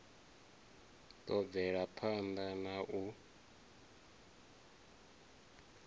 ḓo bvela phanḓa na u